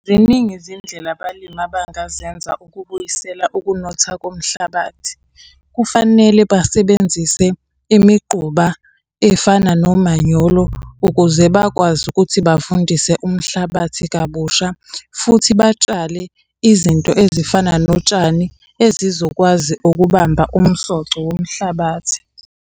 Ziningi izindlela abalimi abangazenza ukubuyisela ukunotha komhlabathi. Kufanele basebenzise imiquba efana nomanyolo ukuze bakwazi ukuthi bavundise umhlabathi kabusha. Futhi batshale izinto ezifana notshani ezizokwazi ukubamba umsoco womhlabathi.